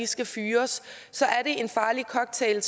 skal fyres er en farlig cocktail